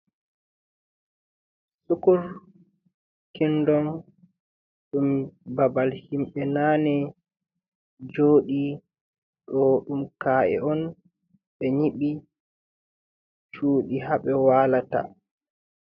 sukur kindonm ɗum babal himɓe nane joɗi ɗo ɗum ka’e on be nyibi shuɗi ha ɓe walata.